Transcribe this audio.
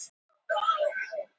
Valdimar drakk hratt.